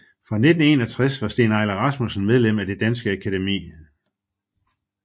Fra 1961 var Steen Eiler Rasmussen medlem af Det Danske Akademi